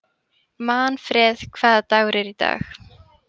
Manfreð, hvaða dagur er í dag?